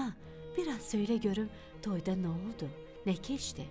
Ana, biraz söylə görüm toyda nə oldu, nə keçdi?